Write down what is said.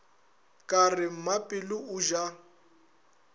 ka re mmapelo o ja